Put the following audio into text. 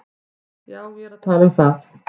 Já, ég er að tala um það.